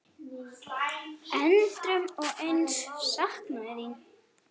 Endrum og eins saknað þín.